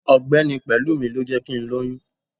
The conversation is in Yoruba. ọgbẹni pelúmí, lọ jé kí n loyún